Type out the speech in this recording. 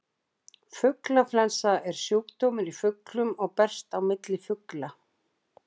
Fuglaflensa er sjúkdómur í fuglum og berst á milli fugla.